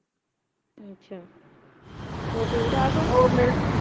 ਅੱਛਾ ਹੋਰ ਠੀਕ ਠਾਕ ਹੋਂ?